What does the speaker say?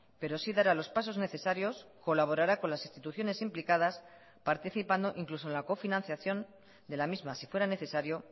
pero sí dará los pasos necesarios colaborará con las instituciones implicadas participando incluso en la cofinanciación de la misma si fuera necesario